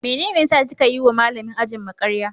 Mene ya saka kika yiwa Malamin ajinmu karya?